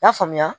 I y'a faamuya